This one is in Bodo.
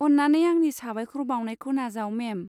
अन्नानै आंनि साबायखर बावनायखौ नाजाव, मेम।